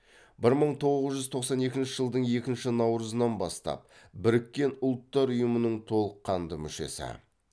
бір мың тоғыз жүз тоқсан екінші жылдың екінші наурызынан бастап біріккен ұлттар ұйымының толыққанды мүшесі